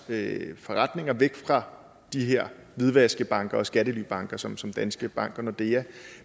forretninger væk fra de her hvidvaskbanker og skattelybanker som som danske bank og nordea